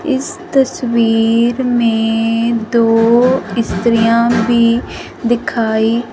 इस तस्वीर में दो स्त्रियां भी दिखाई--